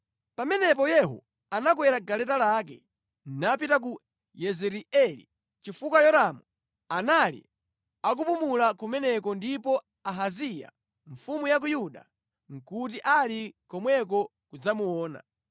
Pamenepo Yehu anakwera galeta lake, napita ku Yezireeli, chifukwa Yoramu anali akupumula kumeneko ndipo Ahaziya, mfumu ya ku Yuda, nʼkuti ali komweko kudzamuona.